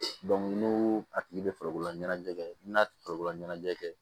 n'u a tigi bɛ farikolola ɲɛnajɛ kɛ i bi na farikolola ɲɛnajɛ kɛ